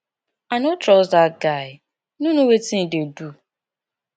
i no trust dat guy he no know wetin e dey do